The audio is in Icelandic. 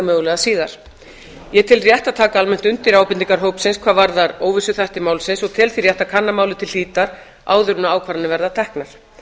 mögulega síðar ég tel rétt að taka almennt undir ábendingar hópsins hvað varðar óvissuþætti málsins og tel því rétt að kanna málið til hlítar áður en ákvarðanir verða teknar